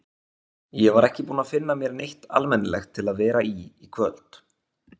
Ég var ekki búin að finna mér neitt almennilegt til að vera í í kvöld.